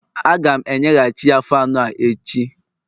Aga m enye ghachiya Faanụ a echi